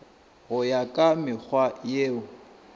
go ya ka mekgwa yeo